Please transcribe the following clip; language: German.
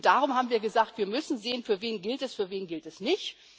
Und darum haben wir gesagt Wir müssen sehen, für wen gilt das, für wen gilt es nicht.